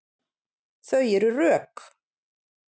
Þau eru rök.